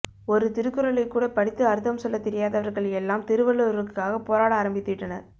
ஒரு திருக்குறளை கூட படித்து அர்த்தம் சொல்ல தெரியாதவர்கள் எல்லாம் திருவள்ளுவருக்காக போராட ஆரம்பித்துவிட்டனர்